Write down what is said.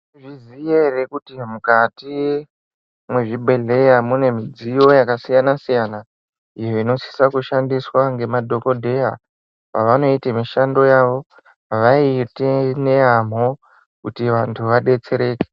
Mwaizviziya ere kuti mukati mwezvibhedhleya mune midziyo yakasiyana siyana iyo inosisa kushandiswa ngemadhokodheya pavanoite mishando yavo avaiti neyamho kuti vantu vadetsereke.